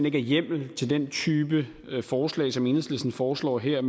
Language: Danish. ikke er hjemmel til den type forslag som enhedslisten foreslår her